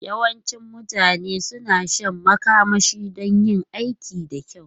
Yawancin mutane suna shan makamashi don yin aiki da kyau.